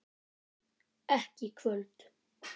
Ekki í kvöld.